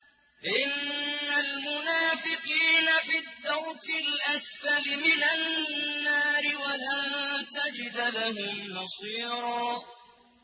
إِنَّ الْمُنَافِقِينَ فِي الدَّرْكِ الْأَسْفَلِ مِنَ النَّارِ وَلَن تَجِدَ لَهُمْ نَصِيرًا